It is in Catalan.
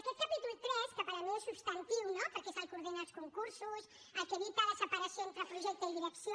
aquest capítol iii que per mi és substantiu no perquè és el que ordena els concursos el que evita la separació entre projecte i direcció